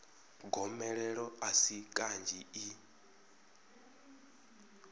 gomelelo a si kanzhi i